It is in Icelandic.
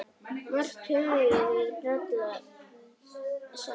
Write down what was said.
Margt höfum við brallað saman.